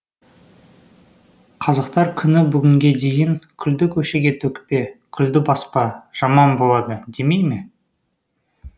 қазақтар күні бүгінге дейін күлді көшеге төкпе күлді баспа жаман болады демей ме